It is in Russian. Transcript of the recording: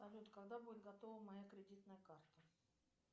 салют когда будет готова моя кредитная карта